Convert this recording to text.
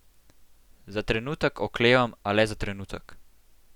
Za trenutek oklevam, a le za trenutek.